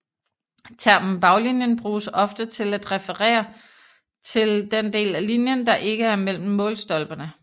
Termen baglinjen bruges ofte til at refere til den del af linjen der ikke er mellem målstolperne